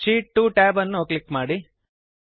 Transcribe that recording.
sheet 2 tab ಅನ್ನು click ಮಾಡಿ